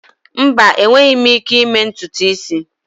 Mba, enweghị m ike ịme ntutu isi.